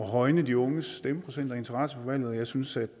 at højne de unges stemmeprocent og interesse for valget og jeg synes at